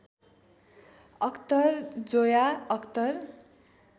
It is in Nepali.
अख्तर जोया अख्तर